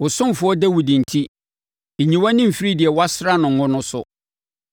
Wo ɔsomfoɔ Dawid enti, nyi wʼani mfiri deɛ woasra no ngo no so.